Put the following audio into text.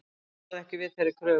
Dómarinn varð ekki við þeirri kröfu